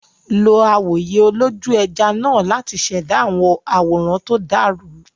Lo awòye olójú-ẹja náà láti ṣẹ̀dá àwòrán tó dàrú.